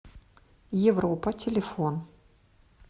европа телефон